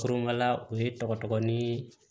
u ye tɔgɔ tɔgɔ ni